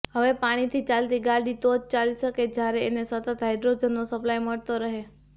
હવે પાણીથી ચાલતી ગાડી તો જ ચાલી શકે જ્યારે એને સતત હાઈડ્રોજનનો સપ્લાય મળતો રહે